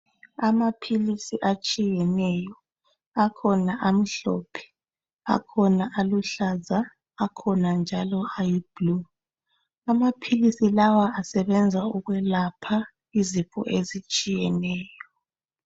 Amaphilisi atshiyeneyo akhona amhlophe akhona aluhlaza akhona njalo ayi blue amaphilisi lawa asebenza ukwelapha izifo ezitshiyeneyo.